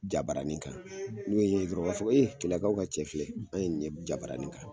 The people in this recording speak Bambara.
Jabarani kan n'o i ye ɲe dɔrɔn u b'a fɔ e keleyakaw ka cɛ filɛ an ni ye jabarani kan